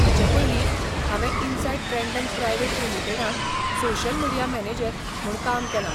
हाचें पयलीं हांवें इनसायट ब्रँडन प्रायव्हेट लिमीटेडांट सोशल मिडीया मॅनेजर म्हूण काम केलां.